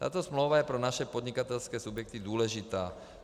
Tato smlouva je pro naše podnikatelské subjekty důležitá.